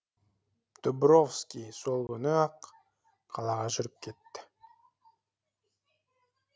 дубровский сол күні ақ қалаға жүріп кетті